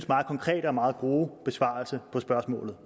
meget konkrete og meget gode besvarelse af spørgsmålet